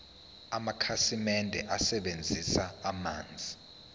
amakhasimende asebenzisa amanzi